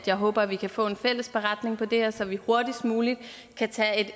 jeg håber at vi kan få en fælles beretning om det her så vi hurtigst muligt kan tage et